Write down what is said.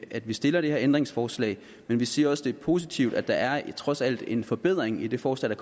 at vi stiller det her ændringsforslag men vi siger også at det er positivt at der trods alt er en forbedring i det forslag